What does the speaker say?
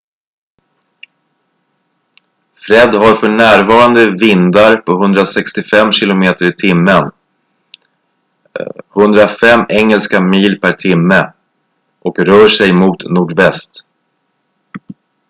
fred har för närvarande vindar på 165 km/h 105 engelska miles per timme och rör sig mot nordväst